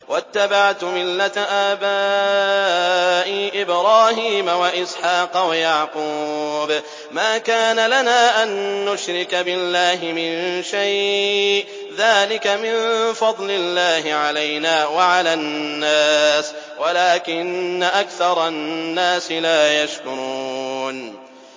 وَاتَّبَعْتُ مِلَّةَ آبَائِي إِبْرَاهِيمَ وَإِسْحَاقَ وَيَعْقُوبَ ۚ مَا كَانَ لَنَا أَن نُّشْرِكَ بِاللَّهِ مِن شَيْءٍ ۚ ذَٰلِكَ مِن فَضْلِ اللَّهِ عَلَيْنَا وَعَلَى النَّاسِ وَلَٰكِنَّ أَكْثَرَ النَّاسِ لَا يَشْكُرُونَ